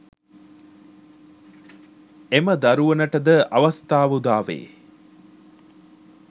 එම දරුවනට ද අවස්ථාව උදාවේ.